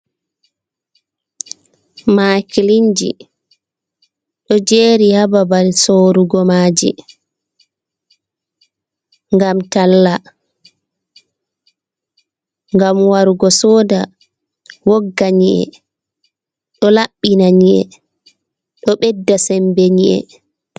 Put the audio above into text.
"Makilinji" Ɗo jeri ha babal sorugo maaji ngam talla ngam warugo soda wogga nyi’e ɗo labbina nyi'e ɗo ɓedda sembe nyi'e.